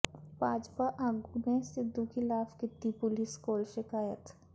ਭਾਜਪਾ ਆਗੂ ਨੇ ਸਿੱਧੂ ਖਿਲਾਫ਼ ਕੀਤੀ ਪੁਲਿਸ ਕੋਲ ਸ਼ਿਕਾਇਤ